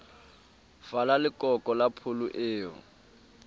fala lekoko la pholo eo